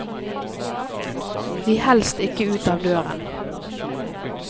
Vi helst ikke ut av døren.